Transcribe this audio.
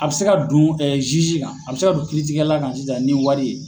A bɛ se ka don kan, a bi se ka don kiiritigɛla kan sisan ni wari ye